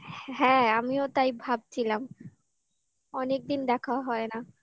হ্যাঁ আমিও তাই ভাবছিলাম অনেকদিন দেখাও হয় না